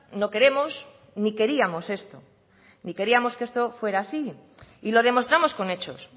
no queremos ni queríamos esto ni queríamos que esto fuera así y lo demostramos con hechos